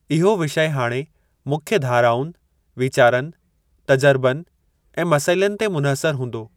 इहो विषय हाणे मुख्य धाराउनि, वीचारनि, तजर्बनि ऐं मसइलनि ते मुनहसरु हूंदो।